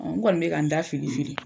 n kɔni bɛ ka n da fili fili.